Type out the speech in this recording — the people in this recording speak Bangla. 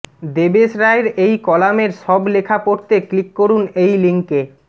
দেবেশ রায়ের এই কলামের সব লেখা পড়তে ক্লিক করুন এই লিংকে